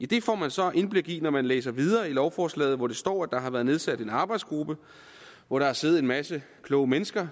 det får man så indblik i når man læser videre i lovforslaget hvor der står at der har været nedsat en arbejdsgruppe hvor der har siddet en masse kloge mennesker